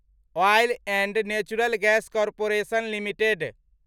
oil and natural gas corporation limited